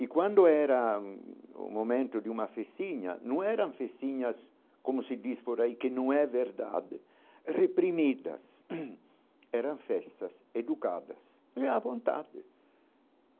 E quando era o momento de uma festinha, não eram festinhas como se diz por aí que não é verdade, reprimidas, eram festas, educadas, à vontade.